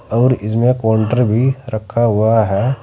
और इसमें काउंटर भी रखा हुआ है।